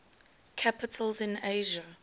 capitals in asia